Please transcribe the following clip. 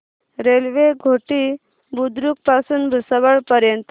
railway Ghoti Budruk पासून भुसावळ पर्यंत